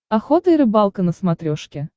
охота и рыбалка на смотрешке